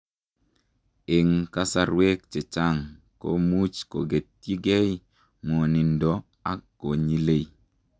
Eng kasarwek chechang komuuch kogetyii gei ngwanindoo ak konyiilei